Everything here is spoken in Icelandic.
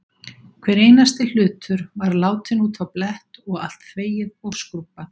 Hver einasti hlutur var látinn út á blett og allt þvegið og skrúbbað.